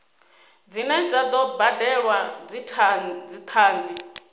dzine dza do badelwa dzithanzi